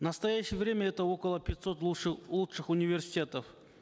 в настоящее время это около пятисот лучших университетов